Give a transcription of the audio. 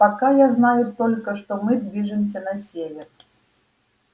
пока я знаю только что мы движемся на север